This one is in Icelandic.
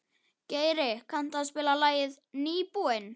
Geiri, kanntu að spila lagið „Nýbúinn“?